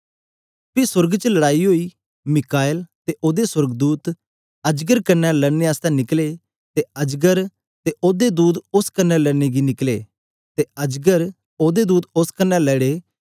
पी सोर्ग च लड़ाई ओई मीकाईल ते ओदे सोर्गदूत अजगर कन्ने लड़ने आस्ते निकले ते अजगर ते ओदे दूत उस्स कन्ने लड़ने गी निकले ते अजगर ते ओदे दूत उस्स कन्ने लड़े